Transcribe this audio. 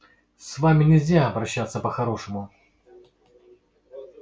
с вами нельзя обращаться по-хорошему